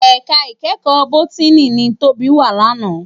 Èká ikèékò ti bótìní ni Tobi wá làná